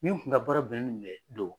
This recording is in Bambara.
Min kun ka baara bɛnnen